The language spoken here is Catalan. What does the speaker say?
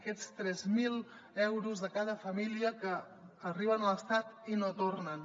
aquests tres mil euros de cada família que arriben a l’estat i no tornen